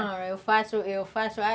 Não, eu faço, eu faço.